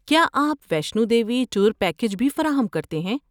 کیا آپ Vaishno Devi tour package بھی فراہم کرتے ہیں؟